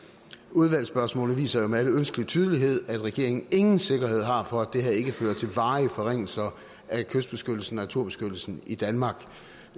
udvalgsspørgsmål viser jo med al ønskelig tydelighed at regeringen ingen sikkerhed har for at det her ikke fører til varige forringelser af kystbeskyttelsen og naturbeskyttelsen i danmark